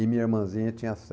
E minha irmãzinha tinha